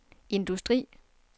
industri